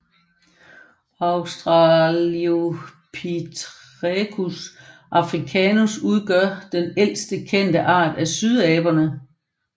Australopithecus africanus udgør den ældste kendte art af sydaberne